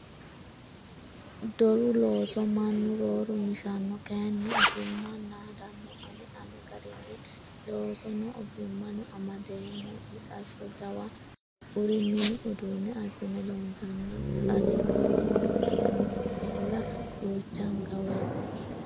Doru looso mannu rooru mishano kayinni ogimma naadano ani ane garinni loosono ogimmano naadeemmo mixasho jawana kuri mini uduune assine loonsanni qari diniqanoella duuchanka woyte.